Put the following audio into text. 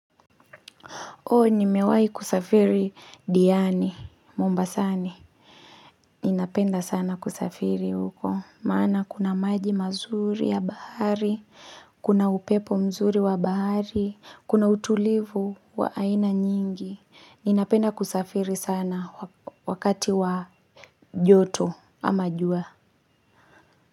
Ndio nimewai kusafiri diani, mombasani, ninapenda sana kusafiri huko, maana kuna maji mazuri ya bahari, kuna upepo mzuri wa bahari, kuna utulivu wa aina nyingi, ninapenda kusafiri sana wakati wa joto ama jua.